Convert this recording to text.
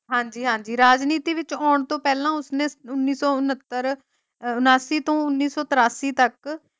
ਹਾਂਜੀ-ਹਾਂਜੀ ਰਾਜਨੀਤੀ ਵਿਚ ਆਉਣ ਤੋਂ ਪਹਿਲਾ ਉਸਨੇ ਉਨੀ ਸੌ ਉਣਹੱਤਰ ਉਂਣਾਸੀ ਤੋਂ ਉਨੀ ਸੌ ਤੇਰਾਸੀ ਤਕ।